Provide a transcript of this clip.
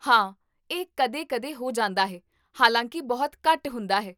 ਹਾਂ, ਇਹ ਕਦੇ ਕਦੇ ਹੋ ਜਾਂਦਾ ਹੈ, ਹਾਲਾਂਕਿ ਬਹੁਤ ਘੱਟ ਹੁੰਦਾ ਹੈ